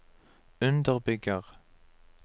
underbygger